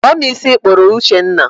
Kpụọ m ísí ị kpụrụ Uchenna